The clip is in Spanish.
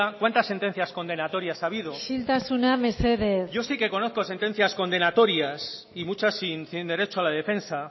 cuántas sentencias condenatorias ha habido isiltasuna mesedez yo sí que conozco sentencias condenatorias y muchas sin derecho a la defensa